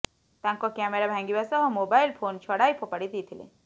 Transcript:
ତାଙ୍କ କ୍ୟାମେରା ଭାଙ୍ଗିବା ସହ ମୋବାଇଲ୍ ଫୋନ୍ ଛଡ଼ାଇ ଫୋପାଡ଼ି ଦେଇଥିଲେ